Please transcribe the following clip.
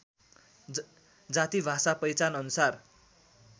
जाति भाषा पहिचानअनुसार